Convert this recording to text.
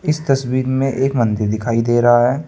इस तस्वीर में एक मंदिर दिखाई दे रहा है।